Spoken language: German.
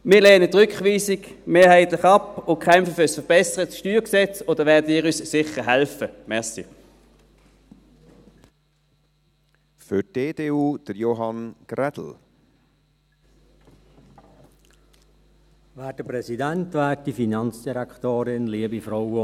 Wir lehnen die Rückweisung mehrheitlich ab und kämpfen für ein verbessertes StG, und dabei werden Sie uns sicher helfen.